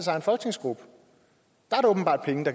tror